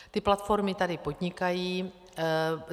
Ty platformy tady podnikají.